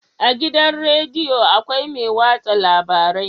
A gidan rediyo akwai mai watsa labarai